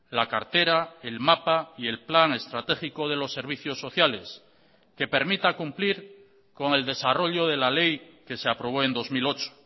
la cartera el mapa y el plan estratégico de los servicios sociales que permita cumplir con el desarrollo de la ley que se aprobó en dos mil ocho